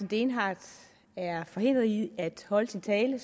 dehnhardt er forhindret i at holde sin tale